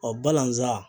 Ɔ balazan